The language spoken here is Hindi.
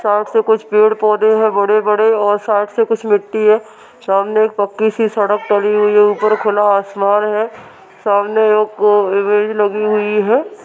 साइड में कुछ पेड़ पोधे हैं बड़े-बड़े और साइड से कुछ मिट्टी हैं। सामने एक पक्की सी सड़क टली हुई है। ऊपर खुला आसमान है। सामने एक इमेज लगी हुई है।